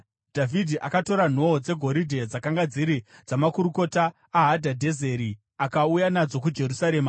Dhavhidhi akatora nhoo dzegoridhe dzakanga dziri dzamakurukota aHadhadhezeri, akauya nadzo kuJerusarema.